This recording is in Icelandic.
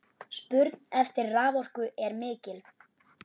Spurn eftir raforku er mikil.